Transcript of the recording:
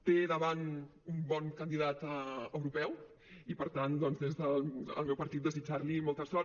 té davant un bon candidat europeu i per tant doncs des del meu partit desitjar li molta sort